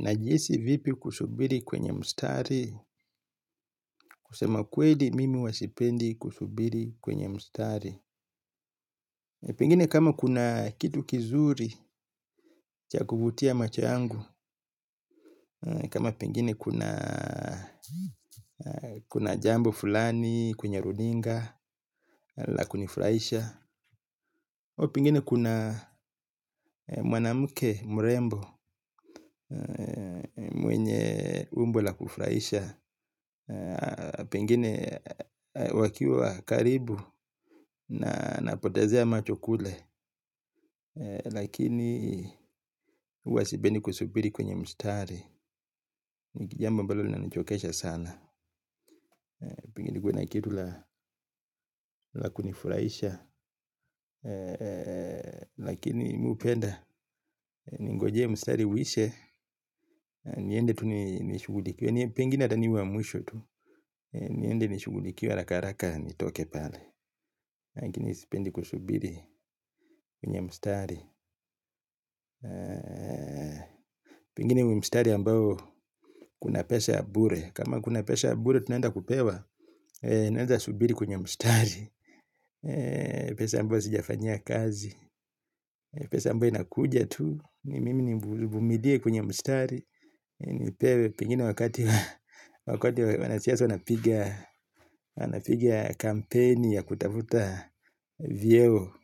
Najihisi vipi kusubiri kwenye mstari, kusema kweli mimi huwa sipendi kusubiri kwenye mstari. Pengine kama kuna kitu kizuri cha kuvutia macho yangu. Kama pengine kuna jambo fulani kwenye runinga la kunifraisha au pengine kuna mwanamuke mrembo mwenye umbo la kufraisha. Pengine wakiwa karibu na napotezea macho kule. Lakini uwa sipendi kusubiri kwenye mstari. Nikijambo ambalo linanichokesha sana. Pengine nikuwe na kitu la kunifuraisha. Lakini mi upenda. Ningoje mshtari uishe. Niende tu nishugulikiwe. Pengine ata niwe wa mwisho tu. Niende nishugudliiwe haraka haraka nitoke pale lakini sipendi kusubiri kwenye mstari. Pengine mstari ambao kuna pesa ya bure. Kama kuna pesa ya bure tunaenda kupewa. Naeza subiri kwenye mstari. Pesa ambao sijafanyia kazi pesa ambayo inakuja tu. Mimi nivumilie kwenye mstari. Pengine wakati wanasiasa wanapiga wanapigia kampeni ya kutavuta vyeo.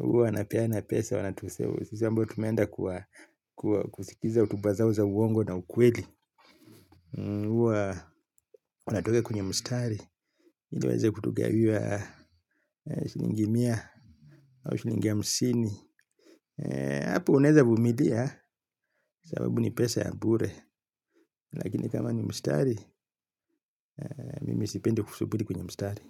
Uwa napeana pesa wanatu save. Sisi ambao tumeenda kwa kusikiza hotuba zao za uongo na ukweli. Huwa watuweka kwenye mstari. Ili waeza kutugawia shlingi mia au shlingi hamsini. Apo unaeza vumilia sababu ni pesa ya bure. Lakini kama ni mstari, mimi sipendi kusuburi kwenye mstari.